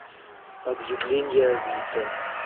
объявления авито